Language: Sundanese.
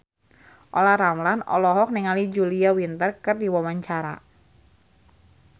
Olla Ramlan olohok ningali Julia Winter keur diwawancara